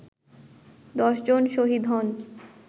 ১০ জন শহীদ হন